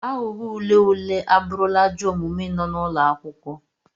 Aghụghọ ule ule abụrụla ajọ omume n'ụlọ akwụkwọ.